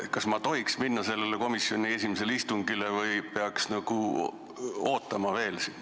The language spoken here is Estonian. Kas ma tohiks minna sellele komisjoni esimesele istungile või peaks veel siin ootama?